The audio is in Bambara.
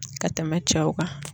Ka tɛmɛ cɛw kan